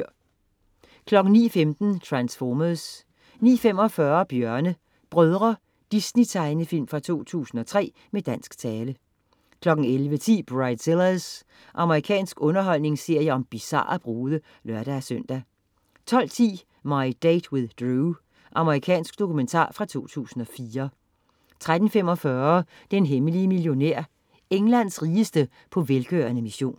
09.15 Transformers 09.45 Bjørne Brødre. Disney-tegnefilm fra 2003, med dansk tale 11.10 Bridezillas. Amerikansk underholdningsserie om bizarre brude (lør-søn) 12.10 My Date with Drew. Amerikansk dokumentar fra 2004 13.45 Den hemmelige millionær. Englands rigeste på velgørende mission